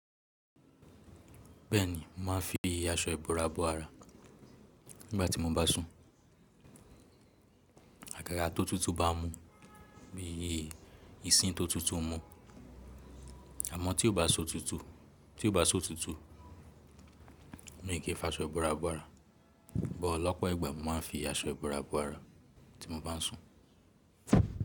Bẹ́ẹ̀ni, màá fi aṣọ ìbora bọ ara nígbàtí mo bá n sùn. Àkàrà tó tutù bá n mú bi yí, ìsìn tó tutù mú. Àmọ́ tí ó bá si otútù, tí ó bá si otútù, mi ò kí ń fi aṣọ ìbora bọ ara. Bọ̀ lọ́pọ̀ ìgbà, mo máa ń fi aṣọ ìbora bọ ara tí mo bá ń sùn.